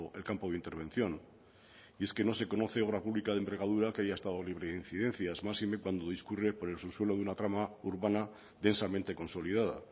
el campo de intervención y es que no se conoce obra pública de envergadura que haya estado libre de incidencias máxime cuando discurre por el subsuelo de una trama urbana densamente consolidada